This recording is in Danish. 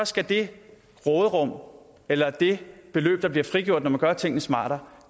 skal det råderum eller det beløb der bliver frigjort når man gør tingene smartere